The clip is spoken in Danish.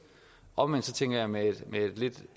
omvendt tænker jeg med et